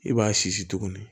I b'a sisi tuguni